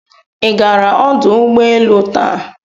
Ị gara ọdụ ụgbọ elu taa?